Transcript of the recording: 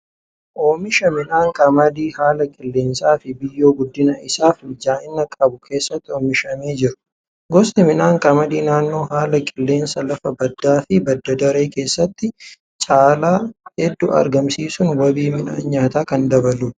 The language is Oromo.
Oomisha midhaan qamadii haala qilleensaa fi biyyoo guddina isaaf mijaa'ina qabu keessatti oomishamee jiru. Gosti midhaan qamadii naannoo haala qilleensaa lafa baddaa fi badda daree keessatti callaa hedduu argamsiisuun wabii midhaan nyaataa kan dabaludha.